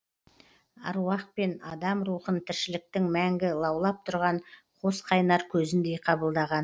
аруақ пен адам рухын тіршіліктің мәңгі лаулап тұрған қос қайнар көзіндей қабылдаған